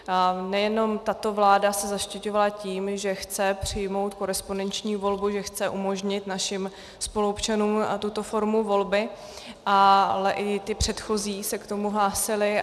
Nejenom tato vláda se zaštiťovala tím, že chce přijmout korespondenční volbu, že chce umožnit našim spoluobčanům tuto formu volby, ale i ty předchozí se k tomu hlásily.